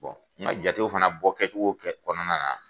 N ga jatew fana bɔ kɛcogo kɛ kɔnɔna na